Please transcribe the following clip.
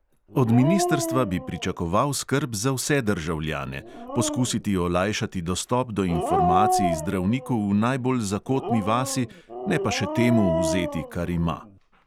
Od ministrstva bi pričakoval skrb za vse državljane, poskusiti olajšati dostop do informacij zdravniku v najbolj zakotni vasi, ne pa še temu vzeti, kar ima.